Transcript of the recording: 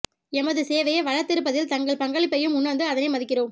எமது சேவையை வளர்த்தெடுப்பதில் தங்கள் பங்களிப்பையூம் உணர்ந்து அதனை மதிக்கிறௌம்